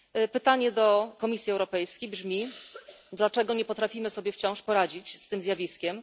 Pytanie do Komisji Europejskiej brzmi dlaczego nie potrafimy sobie wciąż poradzić z tym zjawiskiem?